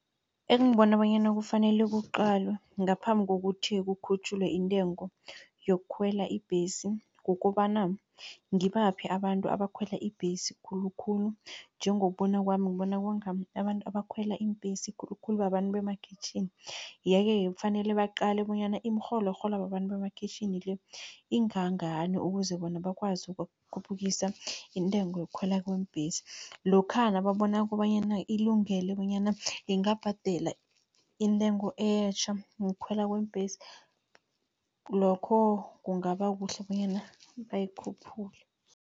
Engibona bonyana kufanele kuqalwe ngaphambi kokuthi kukhutjhulwe intengo yokukhwela ibhesi, kukobana ngibaphi abantu abakhwela ibhesi khulukhulu, njengokubona kwami ngibona kwanga abantu abakhwela iimbhesi khulukhulu babantu bemakhitjhini. Yeke-ke kufanele baqale bonyana imirholo erholwa babantu bemakhitjhini le ingangani, ukuze bona bakwazi ukukhuphukisa intengo yokukhwela kweembhesi. Lokha nababona kukobanyana ilungele bonyana ingabhadela intengo etjha yokukhwela kweembhesi, lokho kungaba kuhle bonyana bayikhuphule.